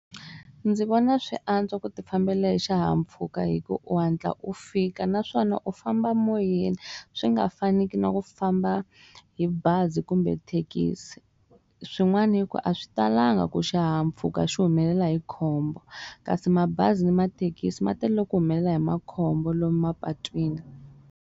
Ndzi vona swi antswa ku ti fambela hi xihahampfhuka hi ku u hatla u fika naswona u famba moyeni swi nga faniku na ku famba hi bazi kumbe thekisi swin'wana yi ku a swi talanga ku xihahampfhuka xi humelela hi khombo kasi mabazi ni mathekisi ma telele ku humelela hi makhombo lomu mapatwini.